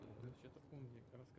Bütün bunları o, Yanin, danışırdı.